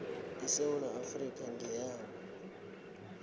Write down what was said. isewula afrika ngeyabo